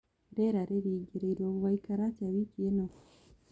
rĩera riĩrĩgirirwo gugaikara atĩa wiki ino